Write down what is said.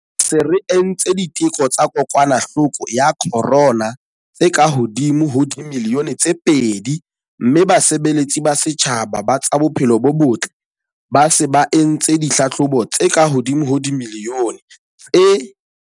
Re se re entse diteko tsa kokwanahloko ya corona tse kahodimo ho dimilione tse pedi mme basebeletsi ba setjhaba ba tsa bophelo bo botle ba se ba entse ditlhahlobo tse kahodimo ho dimilione tse